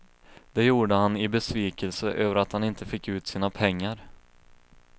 Det gjorde han i besvikelse över att han inte fick ut sina pengar.